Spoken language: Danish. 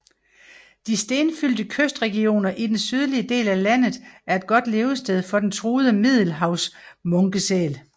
De stenfyldte kystregioner i den sydlige del af landet er et godt levested for den truede Middelhavsmunkesæl